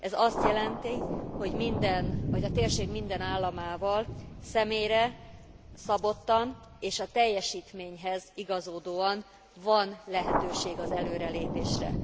Ez azt jelent, hogy a térség minden államával személyre szabottan és a teljesítményhez igazodóan van lehetőség az előrelépésre.